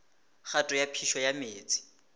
kgato ya phišo ya meetse